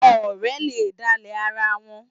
Ọ̀rẹ́ le dálẹ̀ ara wọn.